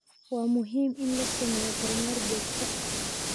Waa muhiim in la sameeyo kormeer joogto ah